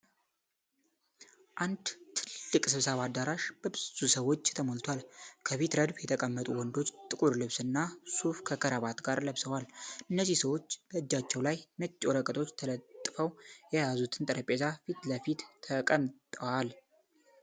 አንድ ትልቅ ስብሰባ አዳራሽ በብዙ ሰዎች ተሞልቷል። ከፊት ረድፍ የተቀመጡ ወንዶች ጥቁር ልብስ እና ሱፍ ከክራባት ጋር ለብሰዋል፤ እነዚህ ሰዎች በእጃቸው ላይ ነጭ ወረቀቶች ተለጥፈው የያዙትን ጠረጴዛ ፊት ለፊት ተቀምጠዋል።